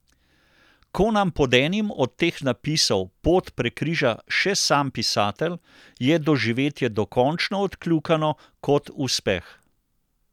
Ko nam pod enim od teh napisov pot prekriža še sam pisatelj, je doživetje dokončno odkljukano kot uspeh.